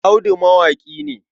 Audu mawaƙi ne.